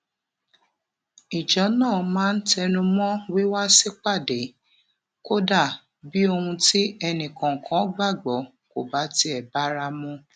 ìjọ náà máa ń tẹnu mó wíwá sípàdé kódà bí ohun tí ẹnì kòòkan gbàgbó kò bá tiè bára mu